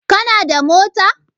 Kana da mota?